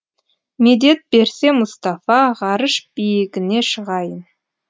медет берсе мұстафа ғарыш биігіне шығайын